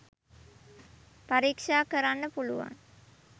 පරික්ෂා කරන්න පුළුවන්.